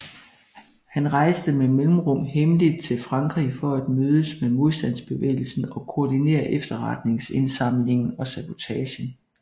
Han rejste med mellemrum hemmeligt til Frankrig for at mødes med modstandsbevægelsen og koordinere efterretningsindsamlingen og sabotagen